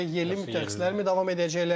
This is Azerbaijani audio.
Yerli mütəxəssislər davam edəcəklər?